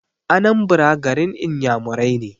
Anambra garin iyamurai ne